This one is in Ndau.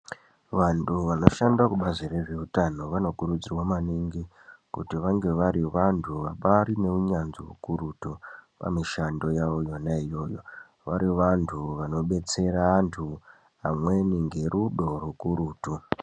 Vantu vanoshanda kubazi rezveutano vanokurudzirwa maningi kuti vange vari vantu vabari neunyanzvi ukurutu pamushando yawo yona iyoyo vari vantu vanobetsera antu amweni ngerudo rukurutu.